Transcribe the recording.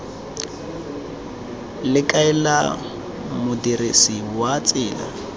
le kaela modirisi wa tsela